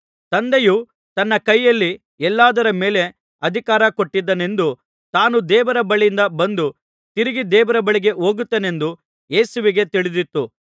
ತಂದೆಯು ತನ್ನ ಕೈಯಲ್ಲಿ ಎಲ್ಲದರ ಮೇಲೆ ಅಧಿಕಾರ ಕೊಟ್ಟಿದ್ದಾನೆಂದೂ ತಾನು ದೇವರ ಬಳಿಯಿಂದ ಬಂದು ತಿರುಗಿ ದೇವರ ಬಳಿಗೆ ಹೋಗುತ್ತೇನೆಂದೂ ಯೇಸುವಿಗೆ ತಿಳಿದಿತ್ತು